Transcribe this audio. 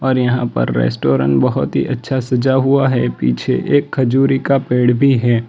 और यहां पर रेस्टोरेंट बहुत ही अच्छा सजा हुआ है पीछे एक खजूरी का पेड़ भी है।